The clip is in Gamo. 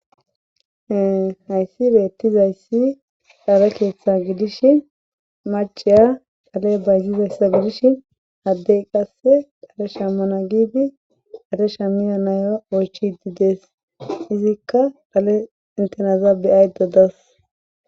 e hayssi beettizayssi dhaale keeththa gidish maceya qale bayzizayssa gidish haddey qasse qale shamana giibi dadesha miya nayra oychi dides izikka dhale intenazaa be7ayda days